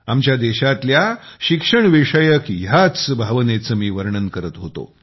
आमच्या देशातल्या शिक्षण विषयक ह्याच भावनेचे मी वर्णन करत होतो